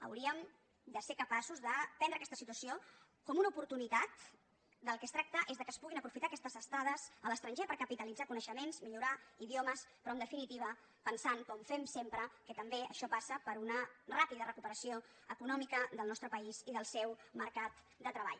hauríem de ser capaços de prendre aquesta situació com una oportunitat del que es tracta és que es puguin aprofitar aquestes estades a l’estranger per capitalitzar coneixements millorar idiomes però en definitiva pensant com fem sempre que també això passa per una ràpida recuperació econòmica del nostre país i del seu mercat de treball